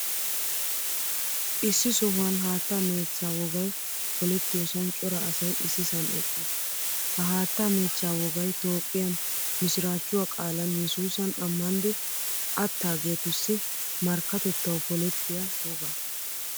Issi sohuwaan haattaa mechcha wogaay poolettiyosan cora asay issisan eqqiis. Ha haattaa mechcha woogay toophphiyaan misirachchuwaa qaalan yesusan ammanidi attagettussi markkatettawu poolettiyaa wogaa.